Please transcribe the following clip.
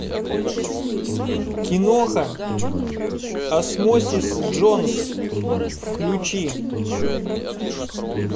киноха осмосис джонс включи